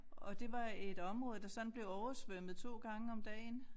Og det var et område der sådan blev oversvømmet 2 gange om dagen